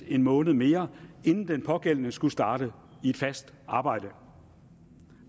en måned mere inden den pågældende skulle starte i et fast arbejde